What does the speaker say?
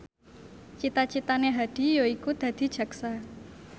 cita citane Hadi yaiku dadi jaksa